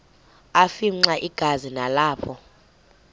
afimxa igazi nalapho